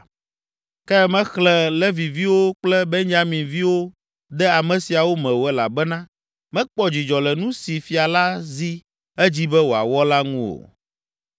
Ke mexlẽ Leviviwo kple Benyaminviwo de ame siawo me o elabena mekpɔ dzidzɔ le nu si fia la zi edzi be wòawɔ la ŋu o.